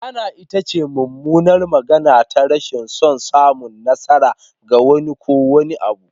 La'ana ita ce mummunar magana ta rashin son samun nasara ga wani ko wani abu.